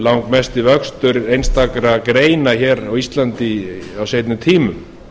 langmesti vöxtur einstakra greina hér á íslandi á seinni tímum